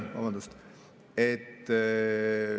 Vabandust!